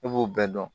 Ne b'o bɛɛ dɔn